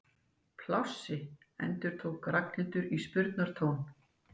Plássi? endurtók Ragnhildur í spurnartón.